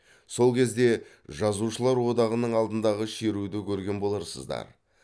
сол кезде жазушылар одағының алдындағы шеруді көрген боларсыздар